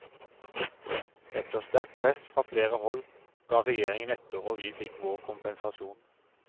Etter sterkt press fra flere hold, ga regjeringen etter og vi fikk vår kompensasjon.